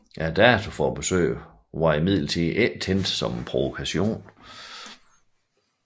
Datoen for besøget var imidlertid ikke tænkt som en provokation